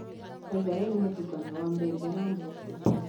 Githeri nĩ mũtukanio wa mbembe na mboco.